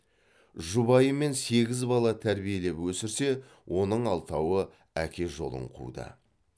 жұбайымен сегіз бала тәрбиелеп өсірсе оның алтауы әке жолын қуды